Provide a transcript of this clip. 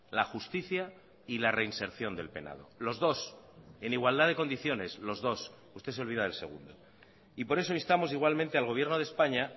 la justicia y la reinserción del penado los dos en igualdad de condiciones los dos usted se olvida del segundo y por eso instamos igualmente al gobierno de españa